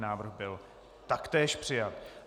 Návrh byl taktéž přijat.